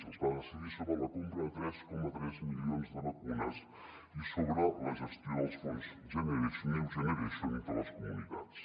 s’hi va decidir sobre la compra de tres coma tres mi·lions de vacunes i sobre la gestió dels fons next generation entre les comunitats